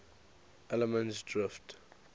allemansdrift